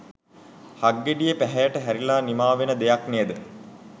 හක්ගෙඩියේ පැහැයට හැරිල නිමා වන දෙයක් නේද?